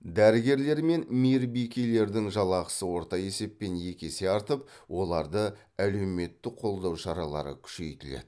дәрігерлер мен мейірбикелердің жалақысы орта есеппен екі есе артып оларды әлеуметтік қолдау шаралары күшейтіледі